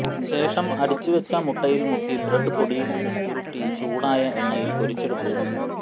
ശേഷം അടിച്ചുവെച്ച മുട്ടയിൽ മുക്കി ബ്രഡ് പൊടിയിൽ ഉരുട്ടി ചൂടായ എണ്ണയിൽ പൊരിച്ചെടുക്കുക